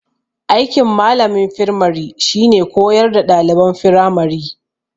Aikin malamin firmari shine koyar da ɗaliban firamari